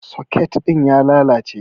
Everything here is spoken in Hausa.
Soket ɗin ya lalace.